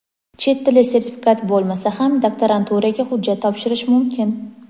Chet tili sertifikat bo‘lmasa ham doktoranturaga hujjat topshirish mumkin.